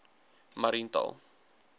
mariental